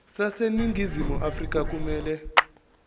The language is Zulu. zaseningizimu afrika kumele